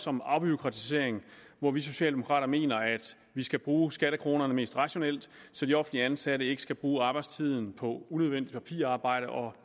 om afbureaukratisering hvor vi socialdemokrater mener at vi skal bruge skattekronerne mest rationelt så de offentligt ansatte ikke skal bruge arbejdstiden på unødvendigt papirarbejde og